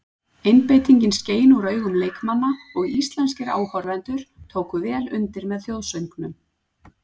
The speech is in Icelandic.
Einbeitingin skein úr augun leikmanna og íslenskir áhorfendur tóku vel undir með þjóðsöngnum.